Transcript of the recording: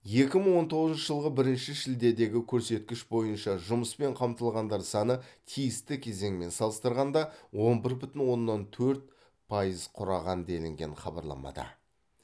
екі мың он тоғызыншы жылғы бірінші шілдедегі көрсеткіш бойынша жұмыспен қамтылғандар саны тиісті кезеңмен салыстырғанда он бір бүтін оннан төрт пайыз құраған делінген хабарламада